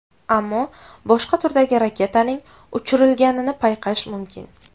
Ammo boshqa turdagi raketaning uchirilganini payqash mumkin.